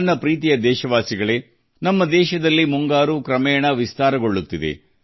ನನ್ನ ಪ್ರೀತಿಯ ದೇಶವಾಸಿಗಳೇ ನಮ್ಮ ದೇಶದಲ್ಲಿ ಈಗ ಮುಂಗಾರು ಆವರಿಸುತ್ತಿದೆ